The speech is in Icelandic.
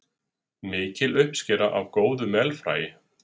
Mikil uppskera af góðu melfræi